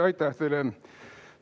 Aitäh teile!